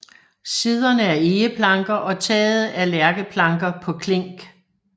Siderne er egeplanker og taget er lærkeplanker på klink